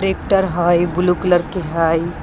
Tractor हइ ई blue colour के हइ।